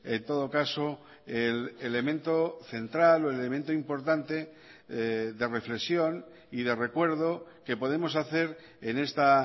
en todo caso el elemento central o el elemento importante de reflexión y de recuerdo que podemos hacer en esta